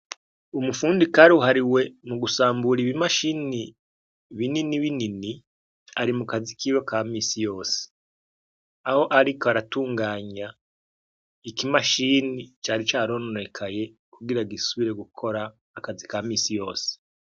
Umufundi karuhariwe mu gusambura ibimashini binini binini ari mu kazi kiwe ka misi yose, aho ariko aratunganya ikimashini cari carononekaye kugira gisubire gukora akazi ka misi yose.